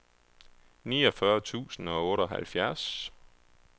niogfyrre tusind og otteoghalvfjerds